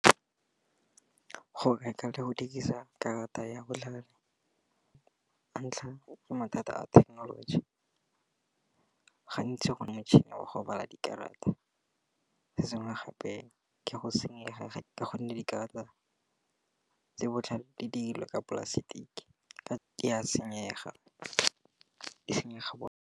Go reka le go dirisa karata ya botkhale, ka ntlha ya mathata a thekenoloji, gantsi gone motšhini wa gobala dikarata, se sengwe gape ke go senyega ka gonne dikarata tse botlhale di dirilwe ka dipolasetiki ka di a senyega, di senyega.